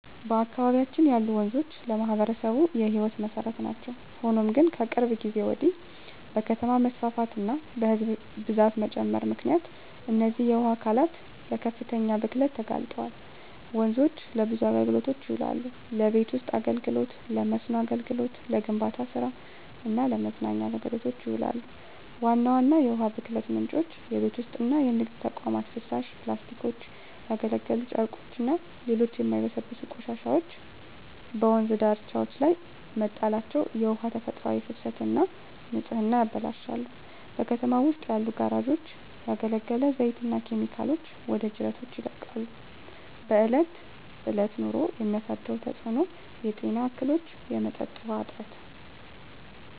በአካባቢያችን ያሉ ወንዞች ለማኅበረሰቡ የሕይወት መሠረት ናቸው። ሆኖም ግን፣ ከቅርብ ጊዜ ወዲህ በከተማ መስፋፋትና በሕዝብ ብዛት መጨመር ምክንያት እነዚህ የውሃ አካላት ለከፍተኛ ብክለት ተጋልጠዋል። ወንዞች ለብዙ አገልግሎቶች ይውላሉ። ለቤት ውስጥ አገልግሎ፣ ለመስኖ አገልግሎት፣ ለግንባታ ስራ እና ለመዝናኛ አገልግሎቶች ይውላሉ። ዋና ዋና የውሃ ብክለት ምንጮች:- የቤት ውስጥና የንግድ ተቋማት ፍሳሽ፣ ፕላስቲኮች፣ ያገለገሉ ጨርቆችና ሌሎች የማይበሰብሱ ቆሻሻዎች በወንዝ ዳርቻዎች ላይ መጣላቸው የውሃውን ተፈጥሯዊ ፍሰትና ንጽህና ያበላሻሉ። በከተማው ውስጥ ያሉ ጋራዦች ያገለገለ ዘይትና ኬሚካሎችን ወደ ጅረቶች ይለቃሉ። በእለት በእለት ኑሮ የሚያሳድረው ተጽኖ:- የጤና እክሎች፣ የመጠጥ ውሀ እጥረት…